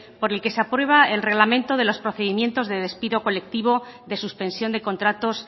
por el que se aprueba el reglamento de los procedimientos de despido colectivo de suspensión de contratos